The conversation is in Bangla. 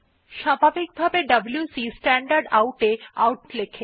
স্বাভাভিকভাবে ডব্লিউসি স্ট্যান্ডারডাউট এ আউটপুট লেখে